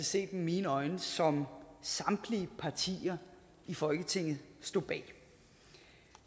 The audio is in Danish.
set med mine øjne som samtlige partier i folketinget stod bag